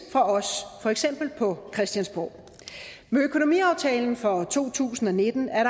af for eksempel os på christiansborg med økonomiaftalen for to tusind og nitten er